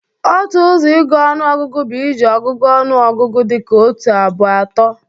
Otu ọzọ ịgụ ọnụọgụgụ bụ iji ọgụgụ ọnụ ọgụgụ dị ka otu, abụọ, atọ